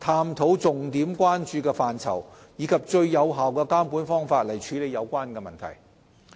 探討重點關注範疇，並以最有效的監管方法處理有關問題。